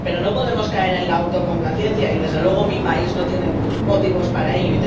Pero no podemos caer en la autocomplacencia y, desde luego, mi país no tiene motivos para ello.